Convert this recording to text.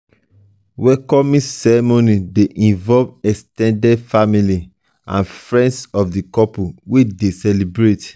welcoming ceremony de involve ex ten ded family and friends of the couples wey de celebrate